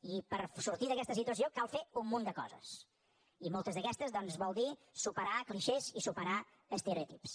i per sortir d’aquesta situa ció cal fer un munt de coses i moltes d’aquestes volen dir superar clixés i superar estereotips